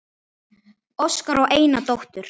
Óskar á eina dóttur.